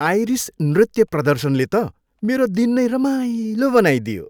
Iris नृत्य प्रदर्शनले त मेरो दिन नै रमाइलो बनाइदियो।